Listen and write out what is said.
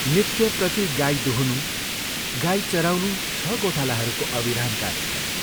नित्यप्रति गाई दुहुनु, गाई चराउनु छ गोठालाहरूको अविराम कार्यक्रम।